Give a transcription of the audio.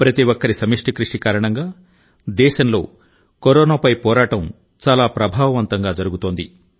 ప్రతి ఒక్కరి సమిష్టి కృషి కారణంగా దేశంలో కరోనాపై పోరాటం చాలా ప్రభావవంతంగా జరుగుతోంది